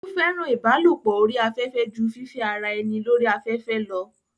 ó fẹ́ràn ìbálòpọ̀ orí afẹ́fẹ́ jù fífẹ́ ara ẹni lórí afẹ́fẹ́ lọ